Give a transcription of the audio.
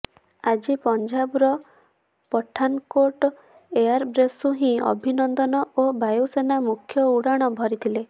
ଆଜି ପଞ୍ଜାବର ପଠାନକୋଟ୍ ଏୟାରବେସ୍ରୁ ହିଁ ଅଭିନନ୍ଦନ ଓ ବାୟୁସେନା ମୁଖ୍ୟ ଉଡ଼ାଣ ଭରିଥିଲେ